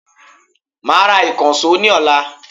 I will buy a new hammer tomorrow